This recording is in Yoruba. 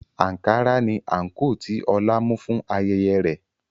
Ankara ni àǹkóò tí Ọlá mú fún ayẹyẹ rẹ̀